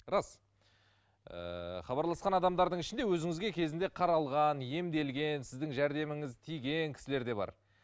рас ыыы хабарласқан адамдардың ішінде өзіңізге кезінде қаралған емделген сіздің жәрдеміңіз тиген кісілер де бар